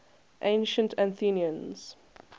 ancient athenians